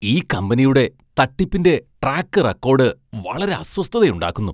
ഈ കമ്പനിയുടെ തട്ടിപ്പിന്റെ ട്രാക്ക് റെക്കോഡ് വളരെ അസ്വസ്ഥതയുണ്ടാക്കുന്നു.